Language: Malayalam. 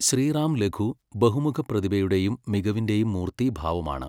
ശ്രീറാംലഗൂ ബഹുമുഖ പ്രതിഭയുടെയും മികവിന്റെയും മൂർത്തീഭാവമാണ്.